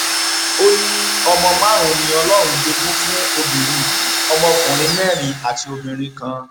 ó níọmọ márùnún ni ọlọrun jogún fún obìnrin yìí ọmọkùnrin mẹrin àti obìnrin kan